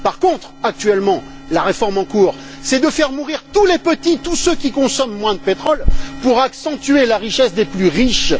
Par contre, actuellement, la réforme en cours consiste à faire mourir tous les petits, tous ceux qui consomment moins de pétrole, pour accentuer la richesse des plus riches.